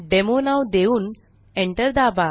demo नाव देऊन enter दाबा